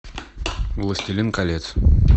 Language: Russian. властелин колец